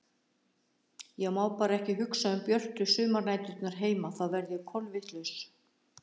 Ég má bara ekki hugsa um björtu sumarnæturnar heima þá verð ég kolvitlaus.